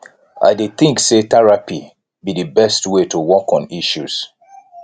i dey think say therapy be di best way to work on issues